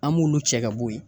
An b'olu cɛ ka bo yen.